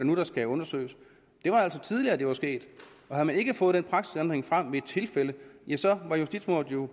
skal undersøges det var altså tidligere det var sket og havde man ikke fået den praksisændring frem ved et tilfælde var justitsmordet jo